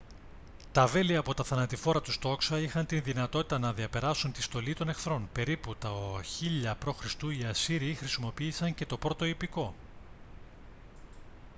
τα βέλη από τα θανατηφόρα τους τόξα είχαν τη δυνατότητα να διαπεράσουν την στολή των εχθρών περίπου το 1000 π.χ. οι ασσύριοι χρησιμοποίησαν και το πρώτο ιππικό